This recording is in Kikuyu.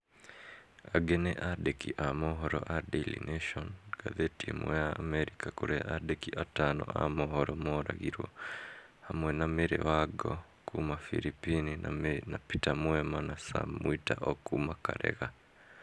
Angĩ nĩ andĩki a mohoro a Daily nation, ngathĩti ĩmwe ya Amerika kũrĩa andĩki atano a mohoro mooragirwo, hamwe na Mary Wango kuuma firipini na peter mwema na Sam mwita o kuuma Karega.